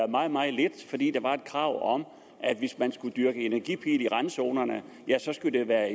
meget meget lidt fordi der var et krav om at hvis man skulle dyrke energipil i randzonerne skulle det være